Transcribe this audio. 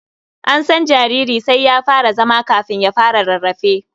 An san jariri sai ya fara zama kafin ya fara rarrafe.